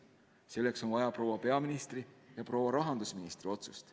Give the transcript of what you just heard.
Selleks on vaja proua peaministri ja proua rahandusministri otsust.